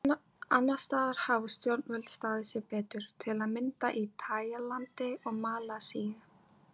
Annars staðar hafa stjórnvöld staðið sig betur, til að mynda í Taílandi og Malasíu.